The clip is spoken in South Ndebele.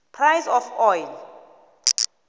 price of oil